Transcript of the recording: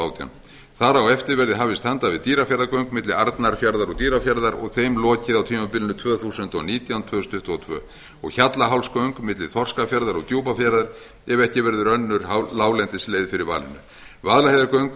átján þar á eftir verði hafist handa við dýrafjarðargöng milli arnarfjarðar og dýrafjarðar og þeim lokið á tímabilinu tvö þúsund og nítján til tvö þúsund tuttugu og tvö hjallahálsgöng milli þorskafjarðar og djúpafjarðar ef ekki verður önnur láglendisleið fyrir valinu vaðlaheiðargöng